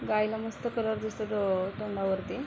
गाईला मस्त कलर दिसतोय तो तोंडावरती.